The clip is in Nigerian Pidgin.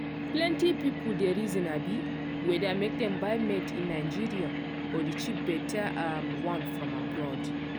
plenty people dey reason abi whether make dem buy made-in-nigeria or the cheap better um one from abroad.